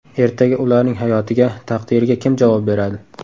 Ertaga ularning hayotiga, taqdiriga kim javob beradi?